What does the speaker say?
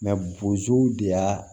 bozow de y'a